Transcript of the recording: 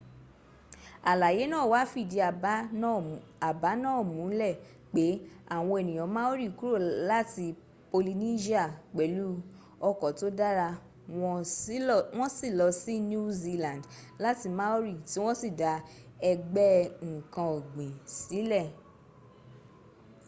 àlàyé náà wá fìdí àbá náà múlẹ̀ pé àwọn ènìyàn maori kúrò láti polynesia pẹ̀lú ọkọ̀ tó dára wọ́n sì lọ sí new zealand láti maori tí wọ́n sì dá ẹgbẹ́ ǹkan ọ̀gbìn sílẹ̀